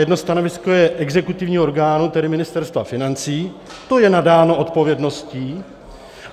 Jedno stanovisko je exekutivního orgánu, tedy Ministerstva financí, to je nadáno odpovědností.